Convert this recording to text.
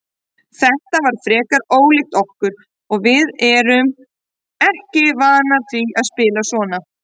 Þetta var frekar ólíkt okkur og við erum ekki vanar því að spila svona.